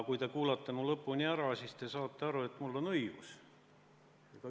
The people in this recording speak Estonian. " Kui te mu lõpuni ära kuulate, siis saate aru, et mul on õigus.